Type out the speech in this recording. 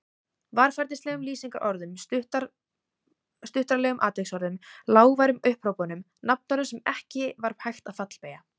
Varfærnislegum lýsingarorðum, stuttaralegum atviksorðum, lágværum upphrópunum, nafnorðum sem ekki var hægt að fallbeygja.